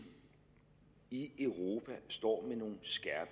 i europa står